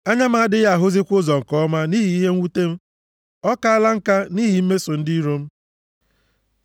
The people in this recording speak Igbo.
Anya m adịghị ahụzikwa ụzọ nke ọma nʼihi ihe mwute; ọ kaala nka nʼihi mmeso ndị iro m.